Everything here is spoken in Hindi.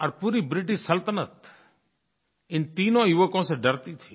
और पूरी ब्रिटिश सल्तनत इन तीनों युवकों से डरती थी